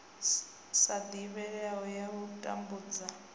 sa divhalei ya u tambudza